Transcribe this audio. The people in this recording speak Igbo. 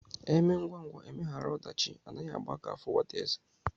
Emee ngwa ngwa emeghara odachi Anaghi Agba aka afu nwata eze